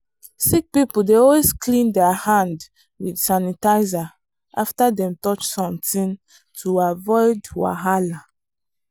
sick people dey always clean der hand with sanitizer after dem touch something to avoid wahala.